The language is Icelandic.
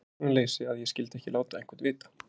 Hugsunarleysi að ég skyldi ekki láta einhvern vita.